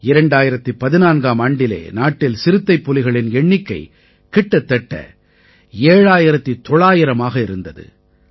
2014ஆம் ஆண்டிலே நாட்டில் சிறுத்தைப்புலிகளின் எண்ணிக்கை கிட்டத்தட்ட 7900ஆக இருந்தது